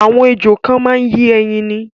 Àwọn ejò kan máa ń yé ẹyin ni.